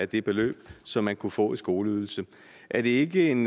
det beløb som man kunne få i skoleydelse er det ikke en